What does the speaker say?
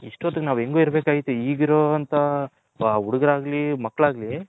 ಇಸ್ಟೊತ್ತಿಗೆ ನಾವು ಹೆಂಗೋ ಇರಬೇಕ್ ಆಗಿತ್ತು ಇಗ್ ಇರೋ ಅಂತ ಹುಡ್ಗುರ್ ಆಗ್ಲಿ ಮಕ್ಕಳು ಆಗ್ಲಿ